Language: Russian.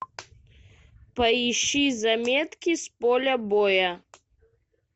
поищи заметки с поля боя